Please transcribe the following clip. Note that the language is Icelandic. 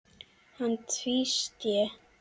Hann tvísté.